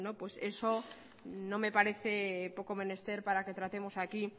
eso no me parece poco menester para que tratemos aquí